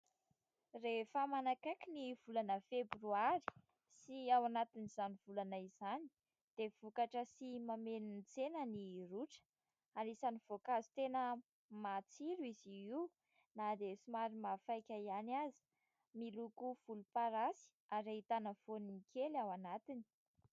Rehefa manakaiky ny volana febroary sy ao anatin'izany volana izany dia vokatra sy mameno ny tsena ny rôtra ary isany voankazo tena matsiro izy io na dia somary mahafaika ihany aza. Miloko voloparasy ary ahitana voany kely ao anatiny.